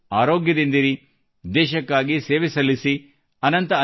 ನೀವೆಲ್ಲರೂ ಆರೋಗ್ಯದಿಂದಿರಿ ದೇಶಕ್ಕಾಗಿ ಸೇವೆ ಸಲ್ಲಿಸಿ